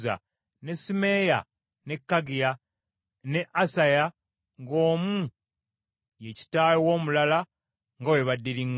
ne Simeeyi, ne Kaggiya ne Asaya, ng’omu ye kitaawe w’omulala nga bwe baddiriŋŋana.